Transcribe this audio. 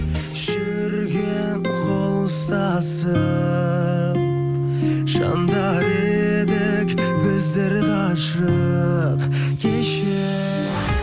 жүрген қол ұстасып жандар едік біздер ғашық кеше